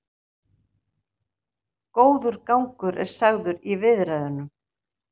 Góður gangur er sagður í viðræðunum